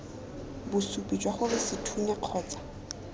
bosupi jwa gore sethunya kgotsa